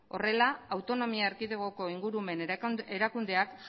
horrela autonomia erkidegoko ingurumen erakundeak